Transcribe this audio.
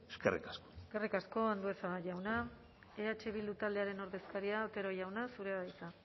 eskerrik asko eskerrik asko andueza jauna eh bildu taldearen ordezkaria otero jauna zurea da hitza